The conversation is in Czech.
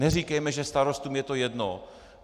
Neříkejme, že starostům je to jedno.